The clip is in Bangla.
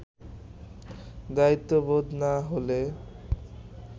দায়িত্ববোধ না হলে